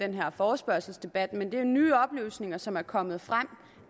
den her forespørgselsdebat men det er nye oplysninger som er kommet frem